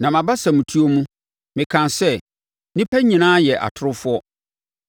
Na mʼabasamtuo mu, mekaa sɛ, “Nnipa nyinaa yɛ atorofoɔ.”